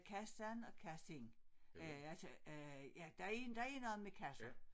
Kassan og kassin øh altså øh ja der er der er noget med kasser